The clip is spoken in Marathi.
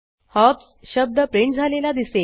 हॉप्स शब्द प्रिंट झालेला दिसेल